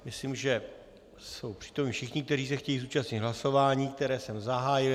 Myslím, že jsou přítomni všichni, kteří se chtějí zúčastnit hlasování, které jsem zahájil.